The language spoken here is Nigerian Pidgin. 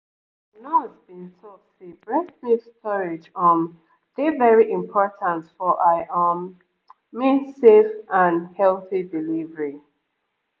our nurse been talk say breast milk storage um dey very important for i um mean safe and healthy delivery